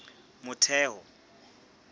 motheo